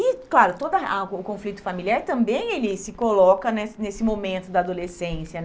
E, claro, toda a o conflito familiar também ele se coloca né nesse momento da adolescência.